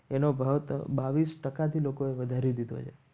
એનો ભાવ બાવીસ ટક્કા થી લોકો વધારી દીધી છે.